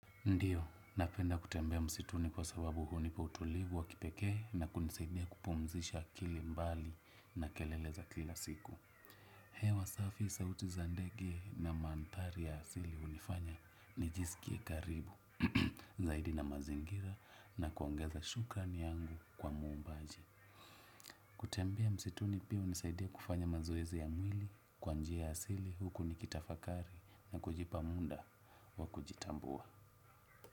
Ndiyo, napenda kutembea msituni kwa sababu hunipa utulivu wakipeke na kunisaidia kupumzisha akilimbali na kelele za kila siku. Hewa safi, sauti za ndege na mantari ya asili unifanya nijisikie karibu, zaidi na mazingira na kuongeza shukrani yangu kwa mumbaji. Kutembea msituni pia unisaidia kufanya mazoezi ya mwili kwa njiya asili huku nikitafakari na kujipa munda wa kujitambua.